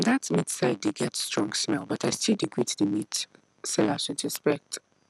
that meat side dey get strong smell but i still dey greet the meat sellers with respect